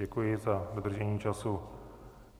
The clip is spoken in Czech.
Děkuji za dodržení času.